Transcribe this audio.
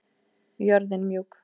Jörðin mjúk.